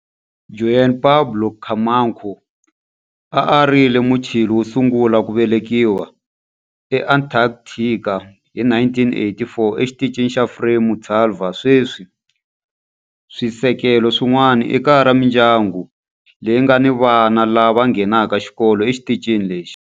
Juan Pablo Camacho a a ri Muchile wo sungula ku velekiwa eAntarctica hi 1984 eXitichini xa Frei Montalva. Sweswi swisekelo swin'wana i kaya ra mindyangu leyi nga ni vana lava nghenaka xikolo exitichini lexi.